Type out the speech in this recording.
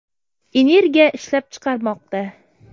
energiya ishlab chiqarmoqda.